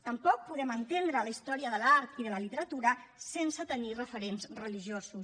tampoc podem entendre la història de l’art i de la literatura sense tenir referents religiosos